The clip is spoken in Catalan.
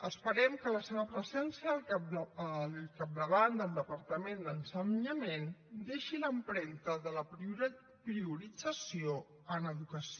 esperem que la seva presència al capdavant del departament d’ensenyament deixi l’empremta de la priorització en educació